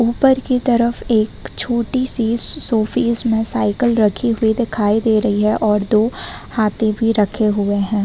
ऊपर की तरफ एक छोटी सी शो पीस में साइकिल रखी हुई दिखाई दे रही है और दो हाथी भी रखे हुए हैं।